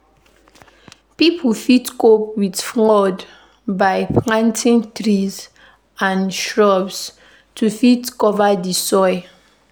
pipo fit cope with flood by planting trees and shrubs to fit cover di soil